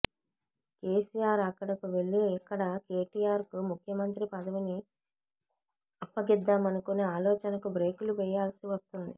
కెసిఆర్ అక్కడకు వెళ్లి ఇక్కడ కేటీఆర్ కు ముఖ్యమంత్రి పదవిని అప్పగిద్దామనుకునే ఆలోచనకు బ్రేకులు వేయాల్సి వస్తుంది